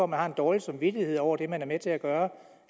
man har en dårlig samvittighed over det man er med til at gøre